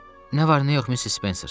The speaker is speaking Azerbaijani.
Nə var, nə yox, Missis Spencer?